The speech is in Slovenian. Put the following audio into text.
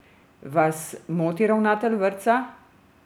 Vas moti ravnatelj vrtca?